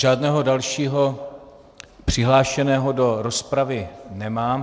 Žádného dalšího přihlášeného do rozpravy nemám.